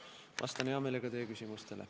Vastan hea meelega teie küsimustele.